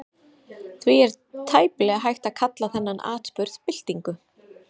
Því er tæplega hægt að kalla þennan atburð byltingu.